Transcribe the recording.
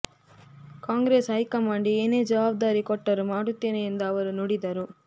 Congress high command ಏನೇ ಜವಾಬ್ದಾರಿ ಕೊಟ್ಟರೂ ಮಾಡುತ್ತೇನೆ ಎಂದು ಅವರು ನುಡಿದರು